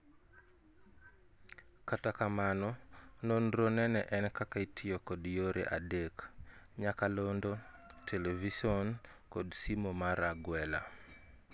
Kata kamano, nonro nene en kaka itiyo kod yore adek; nyakalondo, Television kod simo mar agwela